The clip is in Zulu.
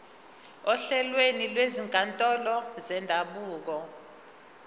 ohlelweni lwezinkantolo zendabuko